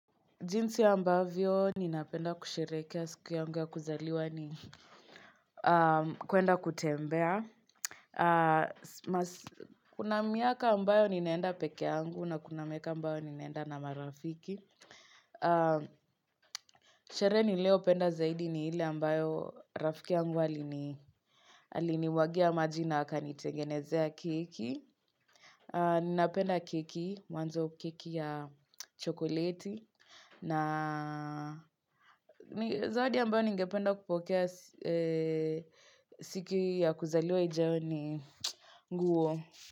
Jinsi ambavyo ninapenda kushereheke siku yangu ya kuzaliwa ni kwenda kutembea. Kuna miaka ambayo ninaenda pekee yangu na kuna miaka ambayo ninaenda na marafiki. Sherehe niliyo penda zaidi ni ile ambayo rafiki yangu alinimwagia maji na akanitengenezea keki. Ninapenda keki, mwanzo keki ya chokoleti. Na zawadi ambayo ningependa kupokea siku ya kuzaliwa ijayo ni nguo.